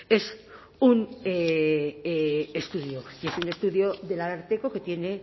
es un estudio y es un estudio del ararteko que tiene